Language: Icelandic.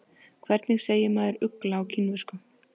Hvernig segir maður ugla á kínversku?